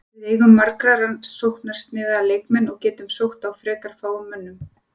Við eigum marga sóknarsinnaða leikmenn og getum sótt á frekar fáum mönnum.